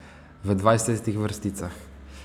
V dvajsetih vrsticah.